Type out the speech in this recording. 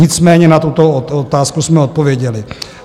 Nicméně na tuto otázku jsme odpověděli.